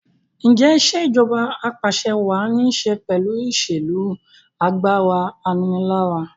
Ǹjẹ́ Ìṣèjọba Ap'àṣẹwàá ní ṣe pẹ̀lú ìṣèlú pẹ̀lú agbára aninilára?